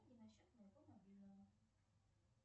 на счет моего мобильного